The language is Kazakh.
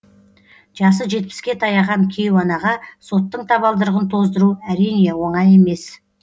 жасы жетпіске таяған кейуанаға соттың табалдырығын тоздыру әрине оңай емес